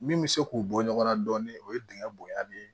Min bɛ se k'u bɔ ɲɔgɔnna dɔɔnin o ye dingɛn bonya de ye